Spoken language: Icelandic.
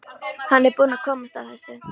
Hann er búinn að komast að þessu.